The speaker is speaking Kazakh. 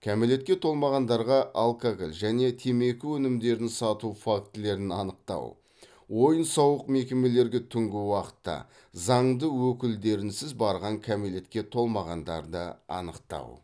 кәмелетке толмағандарға алкоголь және темекі өнімдерін сату фактілерін анықтау ойын сауық мекемелерге түнгі уақытта заңды өкілдерінсіз барған кәмелетке толмағандарды анықтау